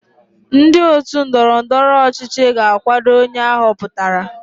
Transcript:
Ndị otu ndọrọ ndọrọ ọchịchị ga-akwado onye a họpụtara.